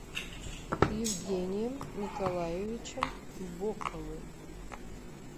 евгением николаевичем боковым